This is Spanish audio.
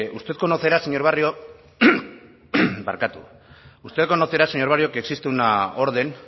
usted conocerá señor barrio que existe una orden